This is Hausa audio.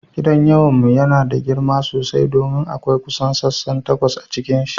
Gidan iyawan mu yana da girma sosai domin akwai kusan sassan takwas a cikinsa.